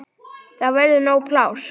Þá verður nóg pláss.